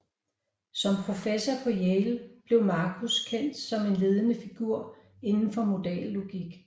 Som professor på Yale blev Marcus kendt som en ledende figur inden for modallogik